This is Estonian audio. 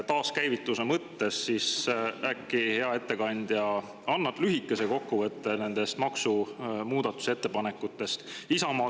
Taaskäivituse mõttes: äkki hea ettekandja teeb lühikese kokkuvõte nendest maksumuudatusettepanekutest?